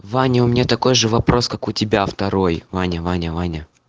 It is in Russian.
ваня у меня такой же вопрос как у тебя второй ваня ваня ваня